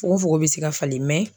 Fogo fogo be se ka falen